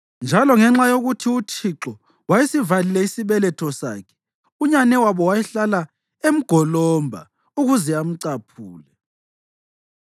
Njalo ngenxa yokuthi uThixo wayesivalile isibeletho sakhe, unyanewabo wayehlala emgolomba ukuze amcaphule.